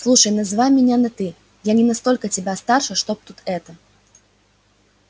слушай называй меня на ты я не настолько тебя старше чтобы тут это